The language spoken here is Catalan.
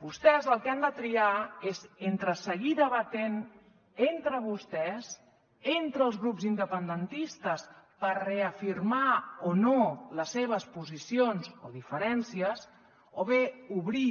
vostès el que han de triar és entre seguir debatent entre vostès entre els grups independentistes per reafirmar o no les seves posicions o diferències o bé obrir